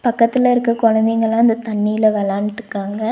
பக்கத்துல இருக்க குழந்தைங்கலா அந்த தண்ணீல வெளான்ட்டுக்காங்க.